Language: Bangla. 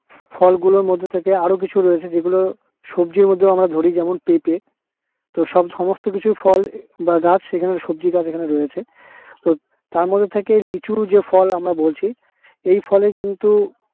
ফলগুলোর মধ্যে থেকে আরও কিছু রয়েছে যেগুলো সবজির মধ্যেও আমরা ধরি যেমন পেঁপে। তো সব সমস্ত কিছুই ফল গাছ এবং সবজি গাছ এখানে রয়েছে উহ তার মধ্যে থেকে লিচু যে ফল আমরা বলছি এই ফলের কিন্তু